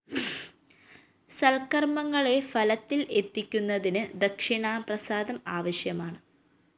സല്‍കര്‍മ്മങ്ങളെ ഫലത്തില്‍ എത്തിക്കുന്നതിന് ദക്ഷിണാപ്രസാദം ആവശ്യമാണ്